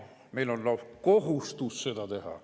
Meil on lausa kohustus seda teha.